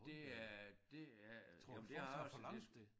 Det er det er jamen det er også det